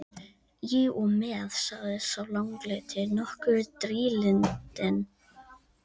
Í og með, sagði sá langleiti, nokkuð drýldinn.